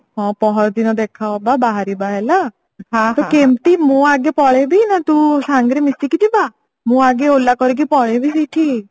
ହଁ ପହରଦିନ ଦେଖା ହବା ବାହାରିବା ହେଲା କେମତି ମୁଁ ଆଗେ ପଳେଈ ବି ନା ତୁ ସାଙ୍ଗରେ ମିଶିକି ଯିବା ମୁଁ ଆଗେ ola କରିକି ପଳେଇବି ସେଠି